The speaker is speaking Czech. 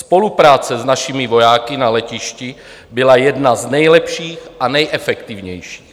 Spolupráce s našimi vojáky na letišti byla jedna z nejlepších a nejefektivnějších.